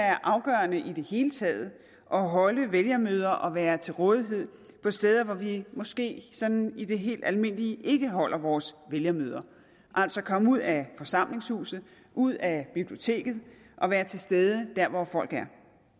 er afgørende i det hele taget at holde vælgermøder og være til rådighed på steder hvor vi måske sådan i det helt almindelige ikke holder vores vælgermøder altså komme ud af forsamlingshuset ud af biblioteket og være til stede dér hvor folk er